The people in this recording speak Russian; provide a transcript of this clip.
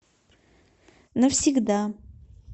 навсегда